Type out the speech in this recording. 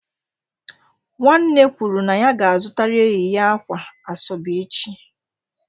Nwanne kwuru na ya ga-azụtara enyi ya akwa asobe echi.